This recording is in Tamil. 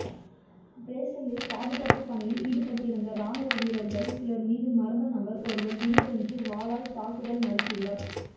பிரஸ்ஸல்சில் பாதுகாப்பு பணியில் ஈடுபட்டிருந்த ராணுவ வீரர்கள் சிலர் மீது மர்ம நபர் ஒருவர் திடீரென்று வாளால் தாக்குதல் நடத்தியுள்ளார்